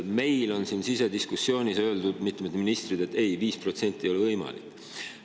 Meil on sisediskussioonis mitmed ministrid öelnud, et ei, 5% ei ole võimalik.